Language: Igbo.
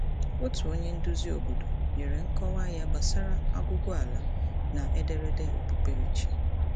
Otu onye nduzi obodo nyere nkọwa ya gbasara aguguala na ederede okpukperechi.